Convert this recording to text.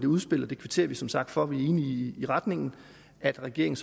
udspil og det kvitterer vi som sagt for vi er enige i retningen at regeringen